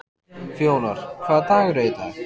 Fjólar, hvaða dagur er í dag?